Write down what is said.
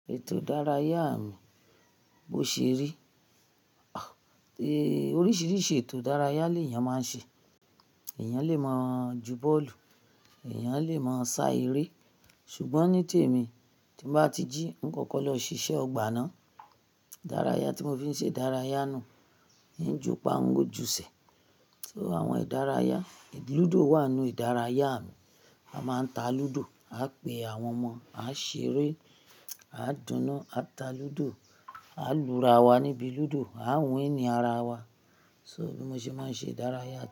Ètò ìdárayá mi, bó ṣe rí, oríṣiríṣi ètò ìdárayá l'eeyàn má ń ṣe. Eeyàn lè máa ju bọ́ọ̀lù, eeyàn lè máa sá eré. Ṣùgbọ́n ní tèmi, tí n bá ti jí, n kọ́kọ́ lọ ṣiṣẹ́ ọgbà náà. Ìdárayá tí mo fi ń ṣe ìdárayá náà n ju'pa ń o ju'se. So àwọn ìdárayá, lúdò wà nínú ìdárayá mi. A máa ń ta lúdò, aa pé àwọn ọmọ, a ṣeré, a dúnu, a ta lúdò, a lu'ra wa níbi lúdò, a win ara wa. So bí mo ṣe máa ń ṣe ìdárayá.